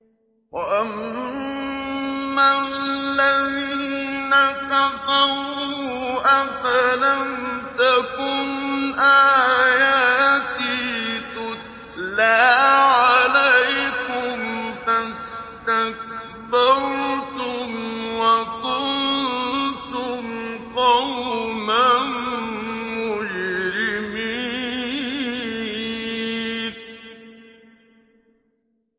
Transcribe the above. وَأَمَّا الَّذِينَ كَفَرُوا أَفَلَمْ تَكُنْ آيَاتِي تُتْلَىٰ عَلَيْكُمْ فَاسْتَكْبَرْتُمْ وَكُنتُمْ قَوْمًا مُّجْرِمِينَ